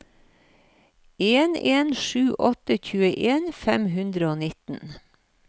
en en sju åtte tjueen fem hundre og nitten